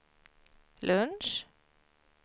lunch